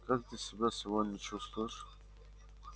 как ты себя сегодня чувствуешь